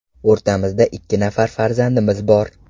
O‘rtamizda ikki nafar farzandimiz bor.